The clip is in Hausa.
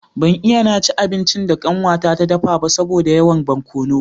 Ban iya na ci abincin da kanwata ta dafa ba saboda yawan barkono